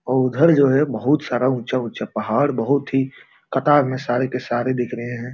और उधर जो है बहुत सारा ऊँचा-ऊँचा पहाड़ बहुत ही कतार में सारे के सारे दिख रहे हैं।